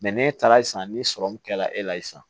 n'e taara ye sisan ni sɔrɔ min kɛra e la sisan